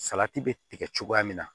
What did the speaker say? Salati bɛ tigɛ cogoya min na